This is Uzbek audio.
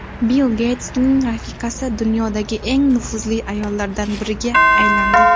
Bill Geytsning rafiqasi dunyodagi eng nufuzli ayollardan biriga aylandi.